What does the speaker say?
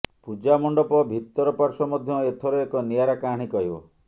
ପୂଜା ମଣ୍ଡପ ଭିତର ପାର୍ଶ୍ବ ମଧ୍ୟ ଏଥର ଏକ ନିଆରା କାହାଣୀ କହିବ